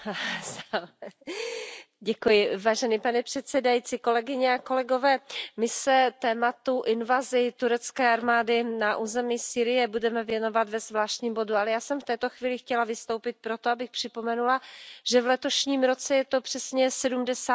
Pane předsedající, kolegyně a kolegové, my se tématu invaze turecké armády na území Sýrie budeme věnovat ve zvláštním bodu. Ale já jsem v této chvíli chtěla vystoupit pro to, abych připomenula, že v letošním roce je to přesně 70 let, kdy jsme si připomínali